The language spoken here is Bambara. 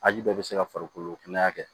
A ji bɛɛ bɛ se ka farikolo kɛnɛya kɛ